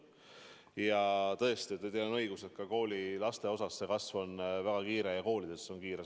Ja tõesti, teil on õigus, ka koolilaste seas see kasv on väga kiire, koolides see on väga kiire.